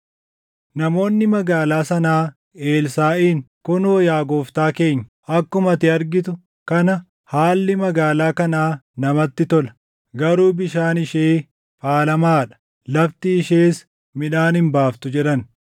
Namoonni magaalaa sanaa Elsaaʼiin, “Kunoo yaa gooftaa keenya, akkuma ati argitu kana haalli magaalaa kanaa namatti tola; garuu bishaan ishee faalamaa dha; lafti ishees midhaan hin baaftu” jedhan.